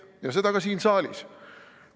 Ja seda ka siin saalis.